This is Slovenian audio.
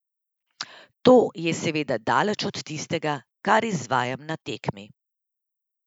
To je seveda daleč od tistega, kar izvajam na tekmi.